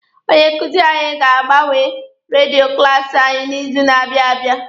Onye nkuzi anyị ga-agbanwe redio klaasi anyị n'izu na-abịa abịa.